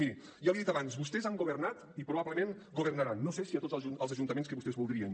miri ja l’hi he dit abans vostès han governat i probablement governaran no sé si a tots els ajuntaments que vostès voldrien